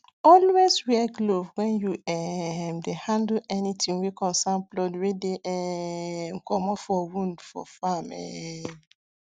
always wear glove when you um dey handle anything wey concern blood wey dey um commot for wound for farm um